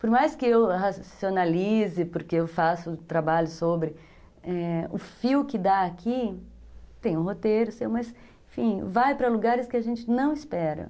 Por mais que eu racionalize, porque eu faço trabalho sobre, é, o fio que dá aqui, tem o roteiro seu, mas, enfim, vai para lugares que a gente não espera.